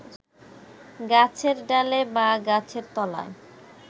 গাছের ডালে বা গাছের তলায়